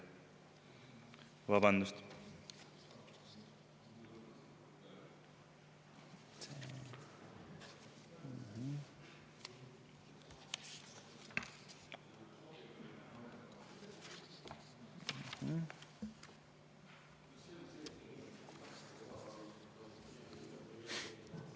Vabandust!